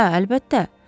Hə, əlbəttə.